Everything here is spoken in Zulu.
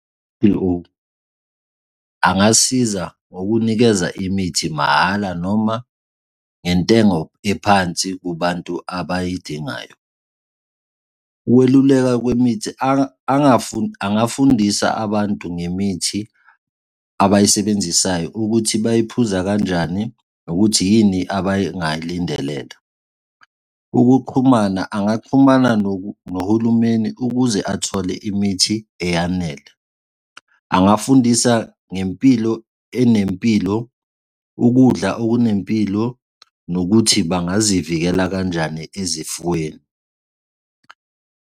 Angasiza ngokunikeza imithi mahhala noma ngentengo ephansi kubantu abayidingayo. Ukweluleka kwemithi angafundisa abantu ngemithi abayisebenzisayo ukuthi bayiphuza kanjani nokuthi yini abangayilindelela. Ukuxhumana angaxhumana nohulumeni ukuze athole imithi eyanele. Angafundisa ngempilo enempilo, ukudla okunempilo nokuthi bangazivikela kanjani ezifweni.